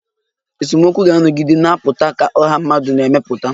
Esemokwu ga-anọgide na-apụta ka ọha mmadụ na-emepụta